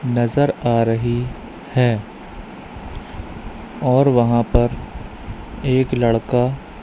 नजर आ रही है और वहां पर एक लड़का--